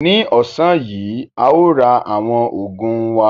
Ní ọ̀sán yìí, a ó ra àwọn ogún wá.